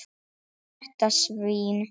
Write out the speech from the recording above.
Þetta svín.